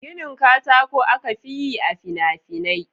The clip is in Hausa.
Ginin katako aka fi yi a fina-finai.